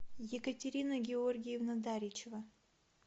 екатерина георгиевна даричева